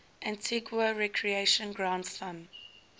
antigua recreation ground thumb